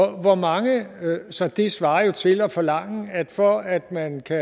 så det svarer jo til at forlange at for at man kan